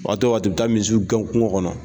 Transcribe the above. Waati o waati u bɛ taa misiw gɛn kungo kɔnɔ